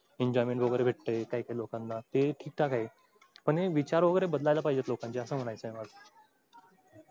enjoyment वगैरे भेटतंय काही काही लोकांना ते ठीक ठाक आहे. पण हे विचार वगैरे बदलायला पाहिजेत लोकांचे असं म्हणायचं आहे मला.